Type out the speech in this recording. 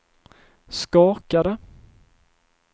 skakade